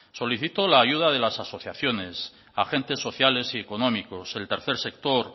solicitó la ayuda de las asociaciones agentes sociales y económicos el tercer sector